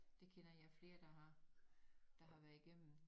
Det kender jeg flere der har der har været i gennem